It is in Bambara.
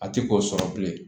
A ti k'o sɔrɔ bilen